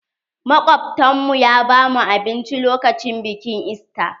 Makobtan mu ya ba mu abinci lokacin bikin ista.